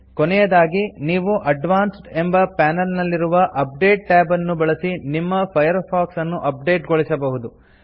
ಕೊನೆಯದಾಗಿ ನೀವು ಅಡ್ವಾನ್ಸ್ಡ್ ಎಂಬ ಪಾನೆಲ್ ನಲ್ಲಿರುವ ಅಪ್ಡೇಟ್ ಟ್ಯಾಬ್ ಅನ್ನು ಬಳಸಿ ನಿಮ್ಮ ಫೈರ್ಫಾಕ್ಸ್ ಅನ್ನು ಅಪ್ ಡೇಟ್ ಗೊಳಿಸಬಹುದು